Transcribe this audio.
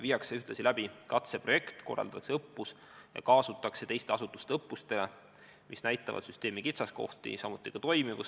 Ühtlasi viiakse läbi katseprojekt ja korraldatakse õppusi, kaasates ka teisi asutusi, et välja selgitada süsteemi kitsaskohad ja toimivus.